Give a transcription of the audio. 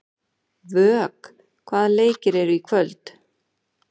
Vök, hvaða leikir eru í kvöld?